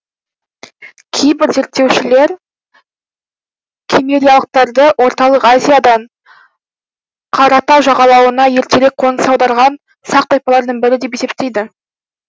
кейбір зерттеушілер киммериялықтарды орталық азиядан қара т жағалауына ертерек қоныс аударған сақ тайпаларының бірі деп есептейді